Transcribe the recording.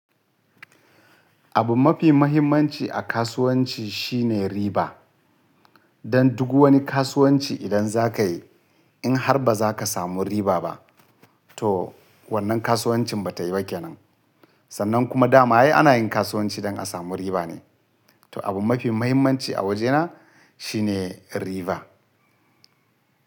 Abu mafi mahimmanci a kasuwanci shine riba. Dan duk wani kasuwanci idan za ka yi in har ba za ka samu riba ba to wannan kasuwancin ba ta yi ba kenan. Sannan kuma dama ai ana yin kasuwanci don a samu riba ne. To abu mafi mahimmanci a wajena shine riba.